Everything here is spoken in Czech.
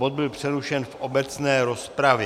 Bod byl přerušen v obecné rozpravě.